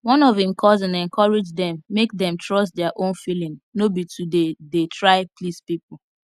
one of im cousin encourage dem make dem trust their own feeling no be to dey dey try please people